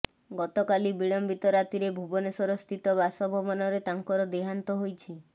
ଗତକାଲି ବିଳମ୍ବିତ ରାତିରେ ଭୁବନେଶ୍ବର ସ୍ଥିତ ବାସଭବନରେ ତାଙ୍କ ର ଦେହାନ୍ତ ହୋଇଛି